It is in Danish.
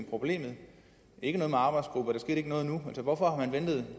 problemet ikke noget med arbejdsgrupper der skete ikke noget hvorfor har man ventet i